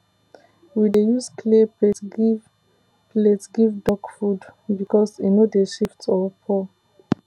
we dey use clay plate give plate give duck food because e no dey shift or pour